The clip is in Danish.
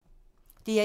DR1